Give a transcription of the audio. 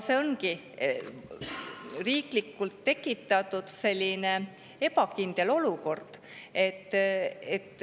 See ongi riiklikult tekitatud ebakindel olukord.